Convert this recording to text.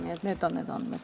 Nii et need on need andmed.